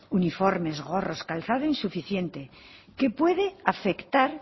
uniformes gorros calzado insuficiente que puede afectar